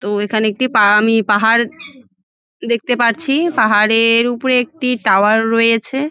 তো এখানে একটি পাগামি পাহাড় দেখতে পারছি পাহাড়ের-র উপরে একটি টাওয়ার রয়েছে ।